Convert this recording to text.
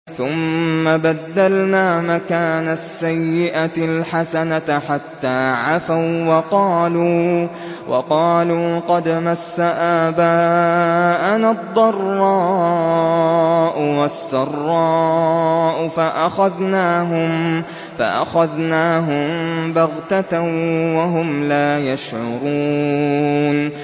ثُمَّ بَدَّلْنَا مَكَانَ السَّيِّئَةِ الْحَسَنَةَ حَتَّىٰ عَفَوا وَّقَالُوا قَدْ مَسَّ آبَاءَنَا الضَّرَّاءُ وَالسَّرَّاءُ فَأَخَذْنَاهُم بَغْتَةً وَهُمْ لَا يَشْعُرُونَ